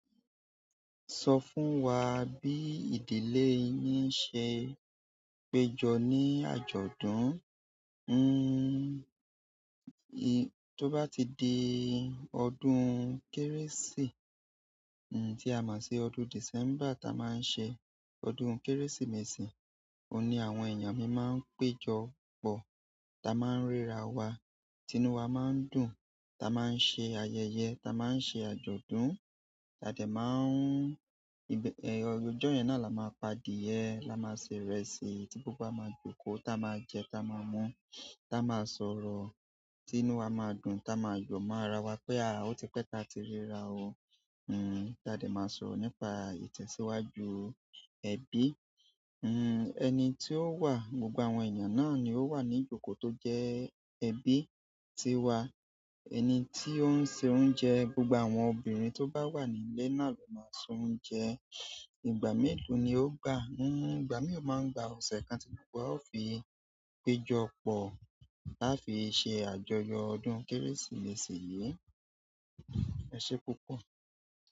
Sọ fún wa bí ìdílé yín ṣe péjọ ní àjọ̀dún. To bati di ọdún kérésì tí a mọ̀ sí ọdún December ta máa ń ṣe ọdún Kérésìmesì, òní àwọn ènìyàn mi máa ń péjọpọ̀, ta máa ń ríra wa, tinu wa máa ń dùn, ta máa ń ṣe ayẹyẹ, ta máa ń ṣe àjọ̀dún, ade máa ń, ọjọ́ yẹn náà la máa pa adìẹ, la máa se ìrẹsì tí gbogbo wa máa jókòó, ta máa jẹ, ta máa mú, ta máa sọ̀rọ̀, tinu wa máa dùn, ta máa yọ̀ mo ara wa pé a, ó ti pẹ́ ta ti ríra o. Hmm, jáde máa sọ̀rọ̀ nípa ìtẹ̀síwájú ẹbí. Hmm, ẹni tí ó wà, gbogbo àwọn ènìyàn náà ni ó wà ní ijoko tó jẹ́ ẹbi ti wa. Ẹni ti o n se oúnjẹ gbogbo àwọn obirin toba wa nínú ile na lo n maa se oúnjẹ, ìgbà melo ni o gba? Igbami o maa gba ose kan ti gbogbo wa o fi péjọpọ̀ láfi ṣe àjọyọ̀ ọdún Kérésìmesì yìí. Ẹ ṣé púpọ̀.